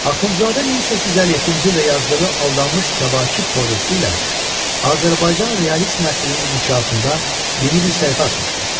Axundzadə 1857-ci ildə yazdığı aldanmış Kəvakib povesti ilə Azərbaycan realist nəsrinin inkişafında yeni bir səhifə açmışdı.